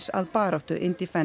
að baráttu